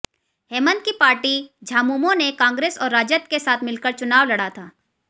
हेमंत की पार्टी झामुमो ने कांग्रेस और राजद के साथ मिलकर चुनाव लड़ा था